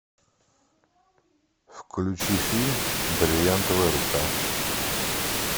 включи фильм бриллиантовая рука